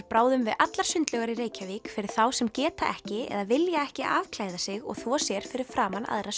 bráðum við allar sundlaugar í Reykjavík fyrir þá sem geta ekki eða vilja ekki afklæða sig og þvo sér fyrir framan aðra